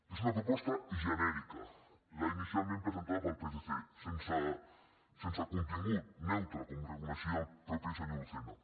és una proposta genèrica la inicialment presentada pel psc sense contingut neutra com reconeixia el mateix senyor lucena